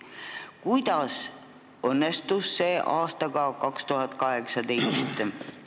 Kuidas see õnnestus aastal 2018?